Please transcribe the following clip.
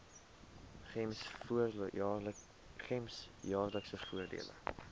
gems jaarlikse voordele